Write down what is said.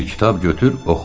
Bir kitab götür, oxu.